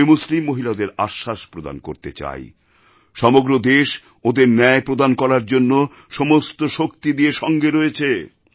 আমি মুসলিম মহিলাদের আশ্বাস প্রদান করতে চাই সমগ্র দেশ ওঁদের ন্যায় প্রদান করার জন্য সমস্ত শক্তি দিয়ে সঙ্গে রয়েছে